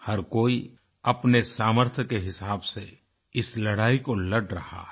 हर कोई अपने सामर्थ्य के हिसाब से इस लड़ाई को लड़ रहा है